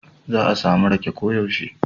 Za a samu riƙe koyaushe.